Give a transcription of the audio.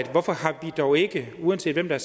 hvorfor vi dog ikke uanset hvem der